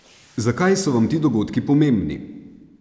Zakaj so vam ti dogodki pomembni?